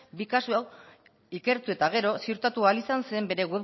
bi kasu hauek ikertu eta gero ziurtatu ahal izan zen bere